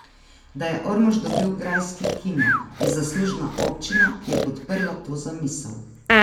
Da je Ormož dobil grajski Kino, je zaslužna občina, ki je podprla to zamisel.